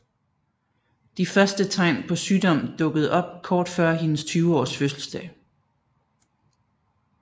De første tegn på sygdom dukkede op kort før hendes 20 års fødselsdag